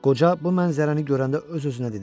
Qoca bu mənzərəni görəndə öz-özünə dedi: